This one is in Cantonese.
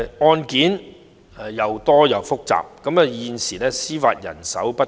案件既多且複雜，而現時司法人手卻不足。